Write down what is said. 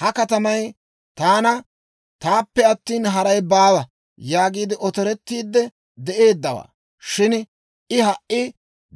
Ha katamay, «Taana! Taappe attina, haray baawa» yaagiide otorettiidde de'eeddawaa; shin I ha"i